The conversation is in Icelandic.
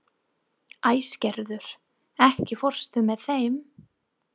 Æsgerður, ekki fórstu með þeim?